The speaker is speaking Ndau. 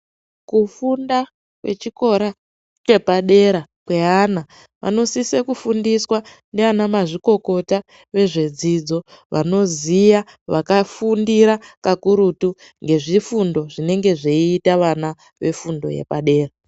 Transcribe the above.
Kufunda kwechikora chepadera kweana vanosise kufundiswa ndiana mazvikokota vezvedzidzo vanoziya vakafundira kakurutu ngezvifundo zvinenge zveiita vana vefundo yepadera.